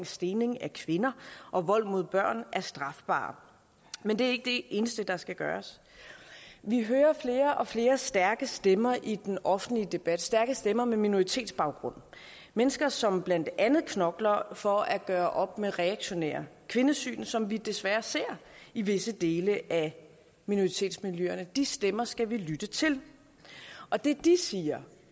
stening af kvinder og vold mod børn er strafbare men det er ikke det eneste der skal gøres vi hører flere og flere stærke stemmer i den offentlige debat stærke stemmer med minoritetsbaggrund mennesker som blandt andet knokler for at gøre op med reaktionære kvindesyn som vi desværre ser i visse dele af minoritetsmiljøerne de stemmer skal vi lytte til og det de siger